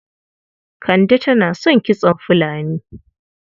Kande tana son kitson fulani.